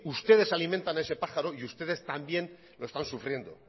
ustedes alimentan a ese pájaro y ustedes también lo están sufriendo